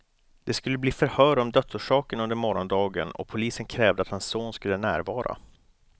Det skulle bli förhör om dödsorsaken under morgondagen, och polisen krävde att hans son skulle närvara.